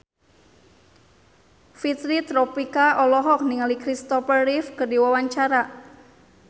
Fitri Tropika olohok ningali Kristopher Reeve keur diwawancara